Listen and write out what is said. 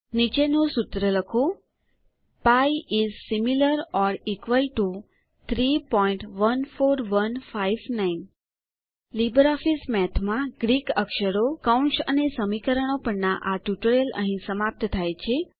નીચેનું સૂત્ર લખો pi is similar or equal to 314159 LibreOffice મેથમાં ગ્રીક અક્ષરો કૌંસ અને સમીકરણો પરના આ ટ્યુટોરીયલ અહી સમાપ્ત થાય છે